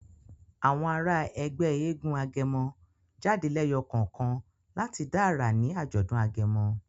Àwọn àrà Ègbé éégun agẹmọ jáde leyo kánkan lati dá àrà ní ajọdun agẹmọ.